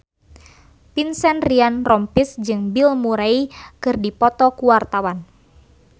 Vincent Ryan Rompies jeung Bill Murray keur dipoto ku wartawan